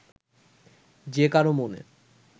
যে কারও মনে